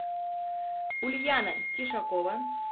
ульяна тишакова